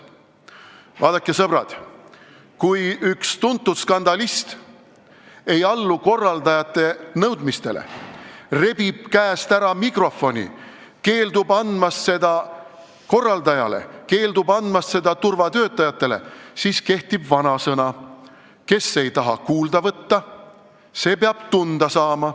Vaadake, sõbrad, kui üks tuntud skandalist ei allu korraldajate nõudmistele, rebib mikrofoni käest ära, keeldub seda korraldajale ja turvatöötajatele andmast, siis kehtib vanasõna "Kes ei taha kuulda võtta, see peab tunda saama.